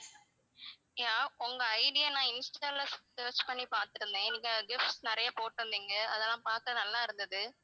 yeah உங்க ID ய நான் insta ல search பண்ணி பார்த்துருந்தேன் நீங்க gifts நிறைய போட்டு இருந்தீங்க அதெல்லாம் பார்த்தேன் நல்லா இருந்தது